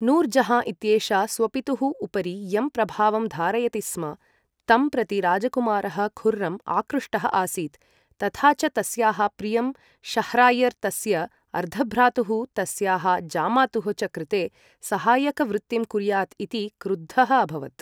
नूर् जहाँ इत्येषा स्वपितुः उपरि यं प्रभावं धारयति स्म तं प्रति राजकुमारः खुर्रम् आक्रुष्टः आसीत्, तथा च तस्याः प्रियं शाह्र्यर्, तस्य अर्धभ्रातुः, तस्याः जामातुः च कृते सहायकवृत्तिं कुर्यात् इति क्रुद्धः अभवत्।